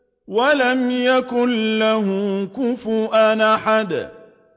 وَلَمْ يَكُن لَّهُ كُفُوًا أَحَدٌ